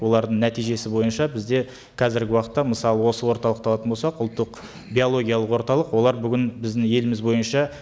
олардың нәтижесі бойынша бізде қазіргі уақытта мысалы осы орталықты алатын болсақ ұлттық биологиялық орталық олар бүгін біздің еліміз бойынша